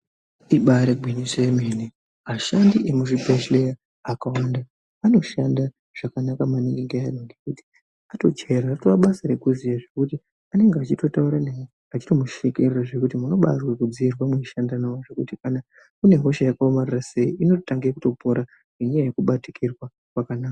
Ibari ngwinyiso yemene ashandi emu zvibhedhleya akawanda anoshanda zvakanaka maningi . Ngekuti atojayira ratove basa rekuziya zvekuti anenge achitotaura newe achitokushekerera zvekuti unobaazwe kudziirwa muchishanda nawo zvekuti chero une hosha yakomarara sei inotange kutopora ngenyayaya yekubatikirwa kwakanaka